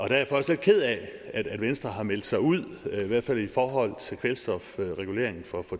jeg også lidt ked af at venstre har meldt sig ud i hvert fald i forhold til kvælstofreguleringen for